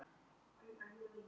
Mæla metrana að sorptunnunum